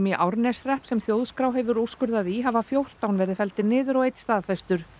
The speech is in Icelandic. í Árneshrepp sem Þjóðskrá hefur úrskurðað í hafa fjórtán verið felldir niður og einn staðfestur